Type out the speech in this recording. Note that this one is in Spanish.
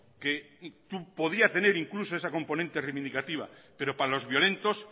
que podía incluso ese componente reivindicativa pero para los violentos